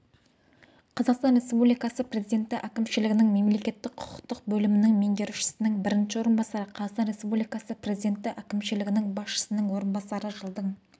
қазақстан республикасы президенті әкімшілігінің мемлекеттік-құқықтық бөлімінің меңгерушісінің бірінші орынбасары қазақстан республикасы президенті әкімшілігінің басшысының орынбасары жылдың